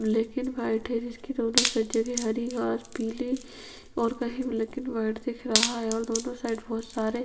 black and white है जिसकी दोनों सब जगहै हर घास पीली और कही ब्लैक एंड व्हाइट दिख रहा है ओर दोनों साइड बहोत सारे --